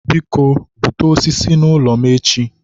biko, bute osisi n'ụlọ m echi.